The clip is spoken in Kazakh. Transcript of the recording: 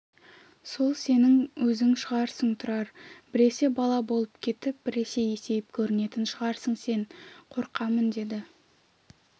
сол сенің өзің шығарсың тұрар біресе бала болып кетіп біресе есейіп көрінетін шығарсың сен қорқамын деді